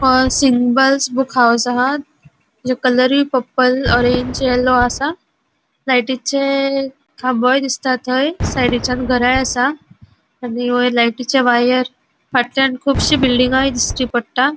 Symbols book house हा जो कलरुई पर्पल ऑरेंज येलो असा लायटीचे खामो दिसता थंय साइडीच्यान घरायी असा आणि वयर लायटीचे वायर फाटल्याण कुबशी बिल्डिंगाय दिश्टी पट्टा.